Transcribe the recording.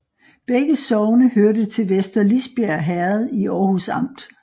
Begge sogne hørte til Vester Lisbjerg Herred i Aarhus Amt